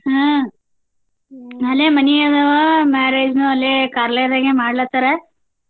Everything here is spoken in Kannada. ಹ್ಮ್ ಅಲ್ಲೆ ಮನಿ ಅದಾವು marriage ನು ಅಲ್ಲೆ ಕಾರ್ಲಯದಾಗ ಮಾಡ್ಲಾಕತ್ತಾರ.